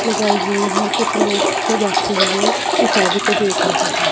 लगाई हुईं हैं और कुछ लोग जोे बैठे हुएं इस शादी को देख रहे हैं।